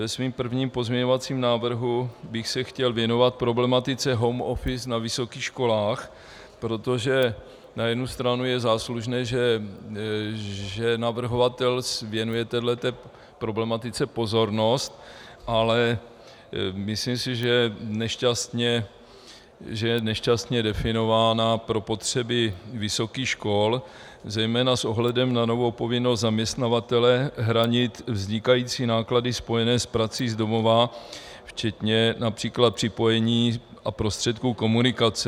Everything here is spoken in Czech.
Ve svém prvním pozměňovacím návrhu bych se chtěl věnovat problematice home office na vysokých školách, protože na jednu stranu je záslužné, že navrhovatel věnuje této problematice pozornost, ale myslím si, že je nešťastně definována pro potřeby vysokých škol, zejména s ohledem na novou povinnost zaměstnavatele hradit vznikající náklady spojené s prací z domova, včetně například připojení a prostředků komunikace.